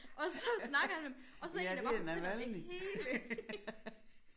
Og så snakkede han med dem og så en der bare fortæller det hele